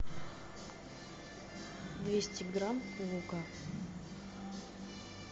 двести грамм лука